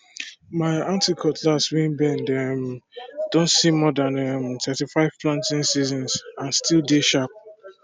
ma aunty cutlass wey bend um don see more than um thirty five planting season and still dey sharp